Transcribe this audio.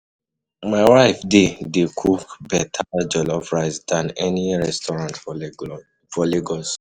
My wife dey dey cook better jollof rice than any restaurant for Lagos.